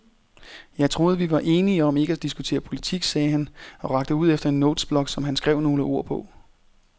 Jeg troede, vi var enige om ikke at diskutere politik, sagde han og rakte ud efter en notesblok, som han skrev nogle ord på.